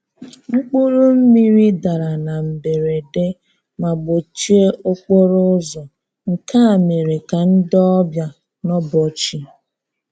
Mkpụrụ mmiri dara na mberede ma kpọchie okporo ụzọ, nke a mere ka ndị ọbịa nọbọọchi.